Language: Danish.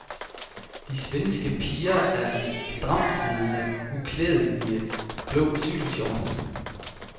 De svenske piger er i stramtsiddende, uklædelige blå cykelshorts.